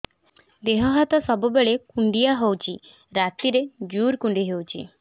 ଦେହ ହାତ ସବୁବେଳେ କୁଣ୍ଡିଆ ହଉଚି ରାତିରେ ଜୁର୍ କୁଣ୍ଡଉଚି